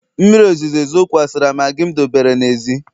mmiri ozuzo zokwasara maggi m debere n'èzí